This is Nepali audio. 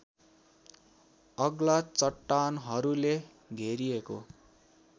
अग्ला चट्टानहरूले घेरिएको